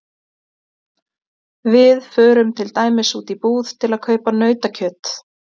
Við förum til dæmis út í búð til að kaupa nautakjöt.